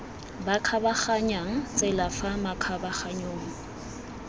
ba kgabaganyang tsela fa makgabaganyong